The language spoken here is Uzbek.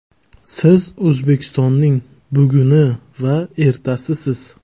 Siz O‘zbekistonning buguni va ertasisiz.